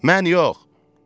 Mən yox.